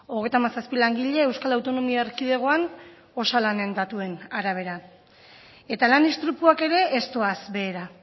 hogeita hamazazpi langile euskal autonomia erkidegoan osalanen datuen arabera eta lan istripuak ere ez doaz behera